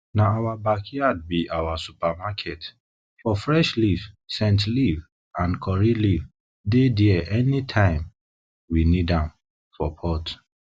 na our backyard be our supermarket for fresh leaf scent leaf and curry leaf dey there any time we need am for pot